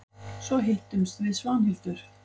Svo hittumst við Svanhildur.